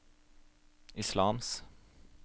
islams